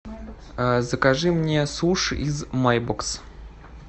закажи мне суши из майбокс